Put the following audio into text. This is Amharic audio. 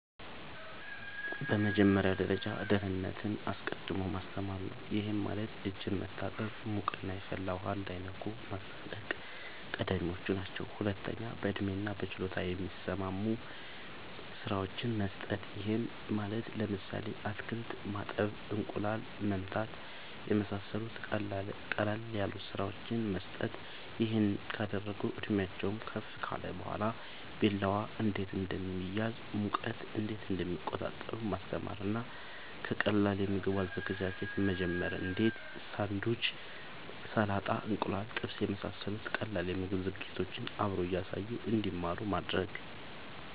በመጀመሪያ ደረጃ ደህንነትን አስቀድሞ ማስተማር ነዉ ይሄም ማለት እጅን መታጠብ ሙቅና የፈላ ውሃ እንዳይነኩ ማስጠንቀቅ ቀዳሚወች ናቸው ሁለተኛ በእድሜና በችሎታ የሚስማሙ ስራወችን መስጠት ይሄም ማለት ለምሳሌ አትክልት ማጠብ እንቁላል መምታት የመሳሰሉት ቀለል ያሉ ስራወችን መስጠት ይሄን ካደረጉ እድሜአቸውም ከፍ ካለ በኋላ ቢላዋ እንዴት እንደሚያዝ ሙቀት እንዴት እንደሚቆጣጠሩ ማስተማር እና ከቀላል የምግብ አዘገጃጀት መጀመር እንዴ ሳንዱች ሰላጣ እንቁላል ጥብስ የመሳሰሉት ቀላል የምግብ ዝግጅቶችን አብሮ እያሳዩ እንድማሩ ማድረግ